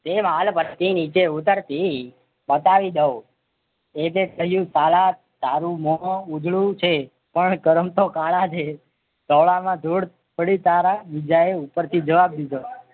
તે વાળ પરથી નીચે ઉતારતી બતાવી દઉં એજે થયું કાલા તારું મોં ઉજળું છે પણ કર્મ તો કાલા છે ધોળામાં ધૂળ પડી તારા જીજા એ ઉપરથી જવાબ દીધો.